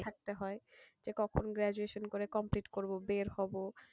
থাকতে হয় যে কখন graduation করে complete করবো বের হবো,